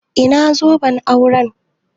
Ina zoben auren?